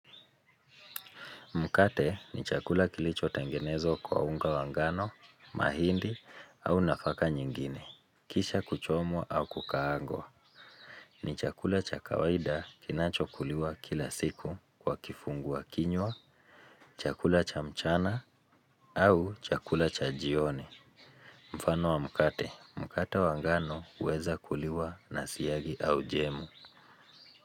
Mkate ni chakula kilichotengenezwa kwa unga wa ngano, mahindi au nafaka nyingine. Kisha kuchomwa au kukaangwa. Ni chakula cha kawaida kinachokuliwa kila siku kwa kifungua kinywa, chakula cha mchana au chakula cha jioni. Mfano wa mkate, mkate wa ngano huweza kuliwa na siagi au jemu.